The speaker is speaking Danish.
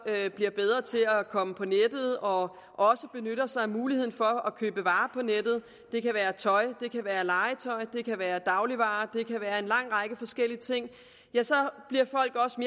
bliver bedre til at komme på nettet og også benytter sig af muligheden for at købe varer på nettet det kan være tøj det kan være legetøj det kan være dagligvarer det kan være en lang række forskellige ting ja så